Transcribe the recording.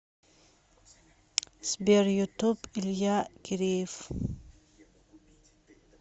сбер ютуб илья киреев